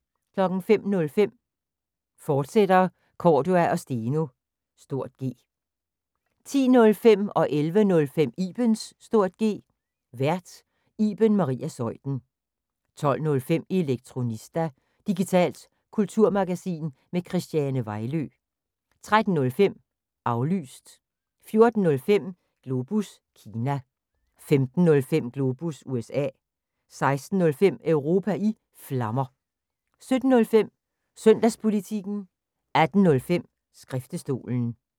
05:05: Cordua & Steno, fortsat (G) 10:05: Ibens (G) Vært: Iben Maria Zeuthen 11:05: Ibens (G) Vært: Iben Maria Zeuthen 12:05: Elektronista – digitalt kulturmagasin med Christiane Vejlø 13:05: Aflyttet 14:05: Globus Kina 15:05: Globus USA 16:05: Europa i Flammer 17:05: Søndagspolitikken 18:05: Skriftestolen